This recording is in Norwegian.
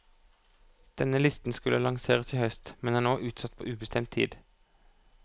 Denne listen skulle lanseres i høst, men er nå utsatt på ubestemt tid.